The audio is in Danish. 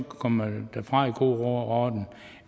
komme derfra i god ro og orden